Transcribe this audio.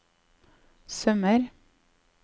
sømmer